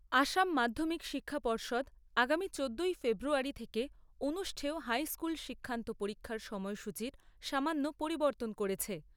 আসাম মাধ্যমিক শিক্ষা পর্ষদ আগামী চোদ্দোই ফেব্রুয়ারী থেকে অনুষ্ঠেয় হাইস্কুল শিক্ষান্ত পরীক্ষার সময়সূচীর সামান্য পরিবর্তন করেছে।